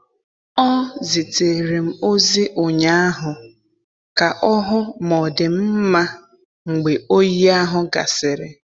Ọ zitere m ozi ụnyaahụ ka ọ hụ ma ọ dị m mma mgbe oyi ahụ gasịrị.